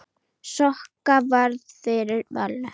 Sokka varð fyrir valinu.